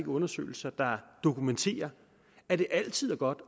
undersøgelser der dokumenterer at det altid er godt